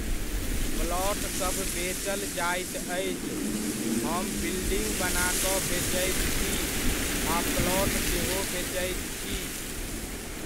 प्लॉटसभ बेचल जाइत अछि, हम बिल्डिङ्ग बना कऽ बेचैत छी आ प्लॉट सेहो बेचैत छी।